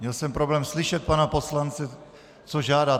Měl jsem problém slyšet pana poslance, co žádá.